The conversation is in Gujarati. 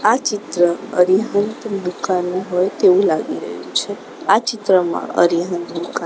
આ ચિત્ર અરિહંત દુકાનનું હોય તેવુ લાગી રહ્યુ છે આ ચિત્રમાં અરિહંત દુકાન--